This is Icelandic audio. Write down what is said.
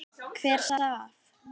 Hver svaf?